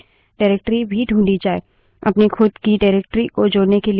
अपनी खुद की निर्देशिका directory को जोड़ने के लिए terminal पर type करे